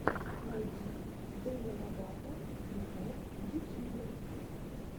найди деми ловато виво в ютьюбе